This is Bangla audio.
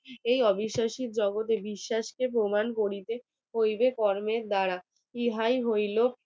এই অবিশ্বাসী জগতের বিশ্বাসকে প্রমাণ করিতে হইবে কর্মের দ্বারা ই হাই হইল